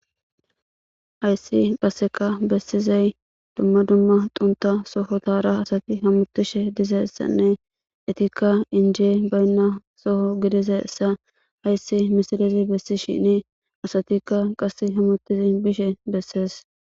hayssi qasseka bessizay dumma dumma tunta soho tara asati hamutishe dizeyssanne etikka injee baynna soho gidizessa hayssi misilizi bessi shini asatikka qass hamutizi bishe bessees